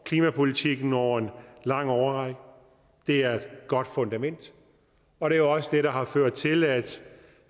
klimapolitikken over en lang årrække det er et godt fundament og det er også det der har ført til at